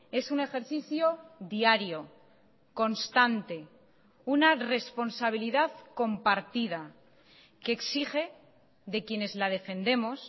es un ejercicio diario constante una responsabilidad compartida que exige de quienes la defendemos